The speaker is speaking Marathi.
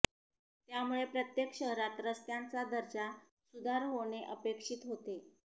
त्यामुळे प्रत्येक शहरात रस्त्यांचा दर्जा सुधार होणे अपेक्षित होते